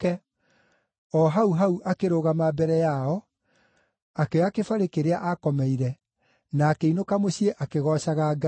O hau hau akĩrũgama mbere yao, akĩoya kĩbarĩ kĩrĩa akomeire, na akĩinũka mũciĩ akĩgoocaga Ngai.